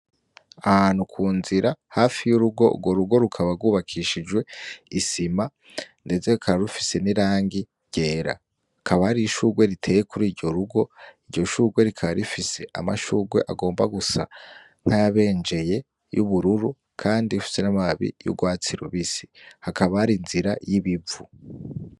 Ahantu kunzira hafi yurugo urwo rugo rukaba rwubakijwe isima ndetse rikaba rufise nirangi ryera. Hakaba Hari ishugwe riteye kurugo rugom iryo shugwe rikaba rifise amashugwe agomba gusa nayabejeye yubururu kandi afise amababi yurwatsi rubisi. Hakaba hari inzira yibivu.